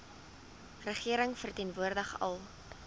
regering verteenwoordig al